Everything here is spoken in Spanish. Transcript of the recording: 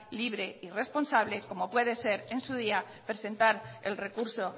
libre y responsable como puede ser en su día presentar el recurso